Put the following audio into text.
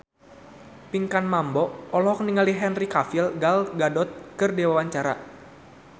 Pinkan Mambo olohok ningali Henry Cavill Gal Gadot keur diwawancara